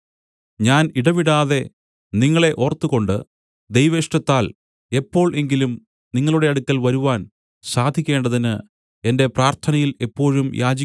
ഞാൻ ഇടവിടാതെ നിങ്ങളെ ഓർത്തുകൊണ്ട് ദൈവേഷ്ടത്താൽ എപ്പോൾ എങ്കിലും നിങ്ങളുടെ അടുക്കൽ വരുവാൻ സാധിക്കേണ്ടതിന് എന്റെ പ്രാർത്ഥനയിൽ എപ്പോഴും യാചിക്കുന്നു